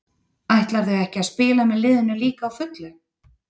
Ætlarðu ekki að spila með liðinu líka á fullu?